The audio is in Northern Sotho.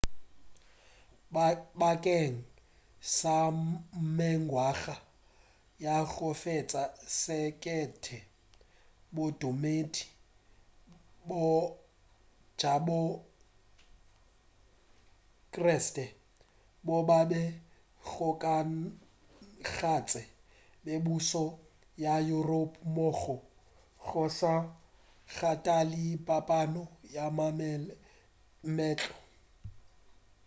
bakeng sa mengwaga ya go feta sekete bodumedi bja bo kreste bo be bo kgokagantše mebušo ya europa mmogo go sa kgathale phapano ya maleme le meetlo i